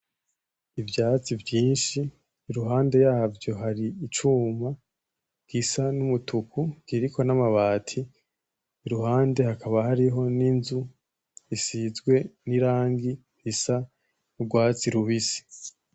ivyatsi vynshi iruhande yavyo hariho icuma gisa numutuku kiriko namabati irihande hakaba hariho ninzu isizwe nirangi isa nurwatsi rubisi